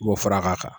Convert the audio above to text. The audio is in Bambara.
I b'o fara k'a kan